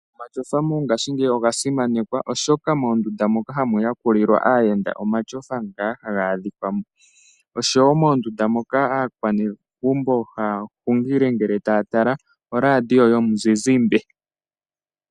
Omatyofa mongaashingeyi oga simanekwa oshoka moondunda moka hamu yakulilwa aayenda omatyofa ngaa ha gaadhikwamo, oshowo moondunda moka aakwanezimo haya hungili ngele taya tala olaadiyo yomuzizimbe.